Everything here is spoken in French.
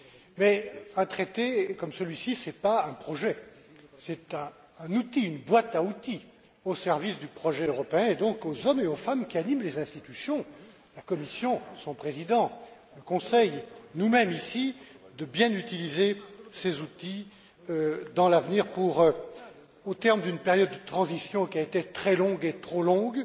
Mais un traité comme celui ci n'est pas un projet, c'est un outil, une boîte à outils au service du projet européen, et il appartient donc aux hommes et aux femmes qui animent les institutions la Commission, son président, le Conseil et à nous mêmes ici de bien utiliser ces outils dans l'avenir au terme d'une période de transition qui a été très longue trop longue